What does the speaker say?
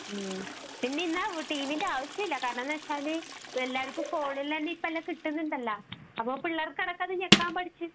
പിന്നെ ഇന്ന് ടിവിയുടെ ആവശ്യം ഇല്ല .കാരണം എന്താണെന്നു വച്ചാൽ എല്ലാര്ക്കും ഫോണിൽ എല്ലാം കിട്ടുന്നുണ്ടല്ലോ അപ്പോൾ പിള്ളേർക്ക് അടക്കം അത് ഞെക്കാൻ പഠിച്ചു